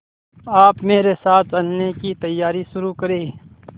आप मेरे साथ चलने की तैयारी शुरू करें